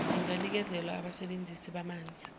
inganikezelwa abasebenzisi bamanzi